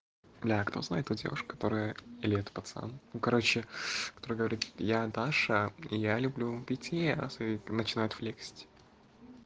бля кто знает ту девушку которая или это пацан ну короче прогорит я даша и я люблю питье и начинают флексить